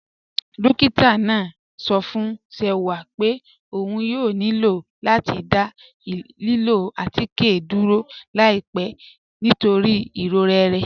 Dọ́kìtà náà sọ̀ fún Ṣẹ̀wà pé ọ̀n yóò nílọ̀ láti dá lílọ̀ àtikẹ́ dúró láìpẹ̀ nítorí iròrẹ̀ rẹ̀.